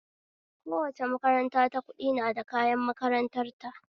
Kowace makaranta ta ƙudi na da kayan makarantar ta